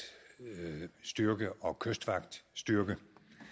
styrke og kystvagtstyrke